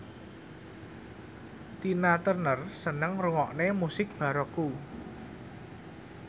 Tina Turner seneng ngrungokne musik baroque